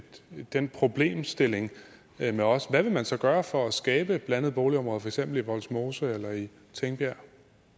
den problemstilling med os hvad vil man så gøre for at skabe blandede boligområder for eksempel i vollsmose eller i tingbjerg